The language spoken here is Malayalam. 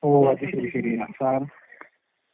ഓ. അത് ശരി ശരിയാ